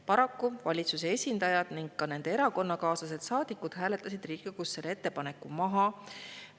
Paraku valitsuse esindajad ning nende erakonnakaaslastest saadikud hääletasid Riigikogus selle ettepaneku maha.